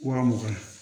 Wa mugan